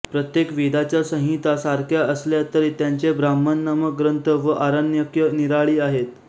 प्रत्येक वेदाच्या संहिता सारख्या असल्या तरी त्यांचे ब्राह्मणनामक ग्रंथ व आरण्यके निराळी आहेत